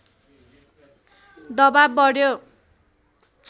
दवाब बढ्यो